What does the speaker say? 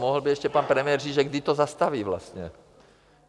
Mohl by ještě pan premiér říct, že kdy to zastaví vlastně.